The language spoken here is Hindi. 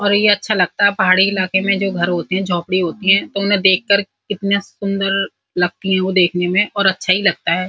और ये अच्छा लगता है। पहाड़ी इलाके में जो घर होते हैं। झोपडी होती हैं तो उन्हें देख कर कितने सुन्दर लगती हैं वो देखने में और अच्छा ही लगता है।